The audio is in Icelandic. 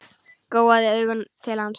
Gjóaði augunum til hans.